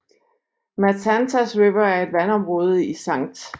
Matanzas River er et vandområde i St